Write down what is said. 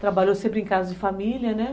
Trabalhou sempre em casa de família, né?